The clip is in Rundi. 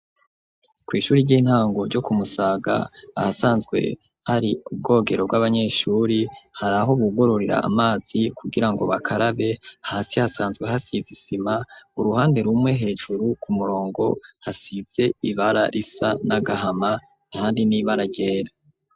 Kw'ishuri ry'intango ryo kumusaga ahasanzwe hari ubwogero bw'abanyeshuri hari aho bugororera amazi kugira ngo bakarabe hasi hasanzwe hasize isima uruhande rumwe hejuru ku murongo hasize ibara risa n'agahama handi n'ibara ryera.